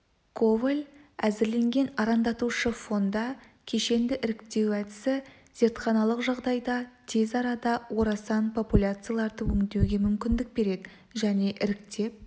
коваль әзірлеген арандатушы фонда кешенді іріктеу әдісі зертханалық жағдайда тез арада орасан популяцияларды өңдеуге мүмкіндік береді және іріктеп